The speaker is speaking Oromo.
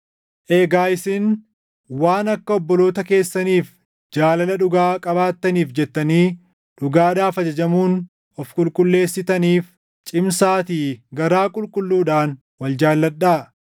Egaa isin waan akka obboloota keessaniif jaalala dhugaa qabaattaniif jettanii dhugaadhaaf ajajamuun of qulqulleessitaniif, cimsaatii garaa qulqulluudhaan wal jaalladhaa.